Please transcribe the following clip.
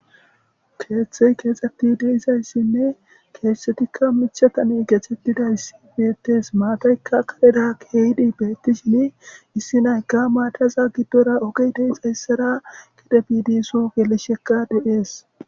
Keeththey keexxetti deizayssinne keettetikka michatane gechettidayssi beettees maatayka kadeda keeydi beettishin issi nayka maataza giddora ogi deixayssara gide bidisu gelishekka de'ees